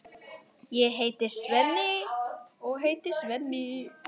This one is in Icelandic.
Ég heiti Svenni.